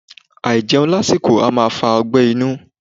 Aijẹun lasiko a maa fa ọgbé̩ inu